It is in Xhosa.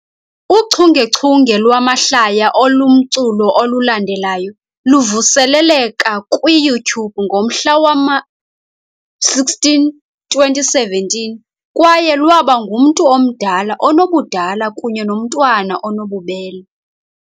Uchungechunge lwamahlaya olumculo olulandelayo luvuseleleka kwiYouTube ngomhla wama-16, 2017 kwaye lwaba ngumntu omdala onobudala kunye nomntwana onobubele.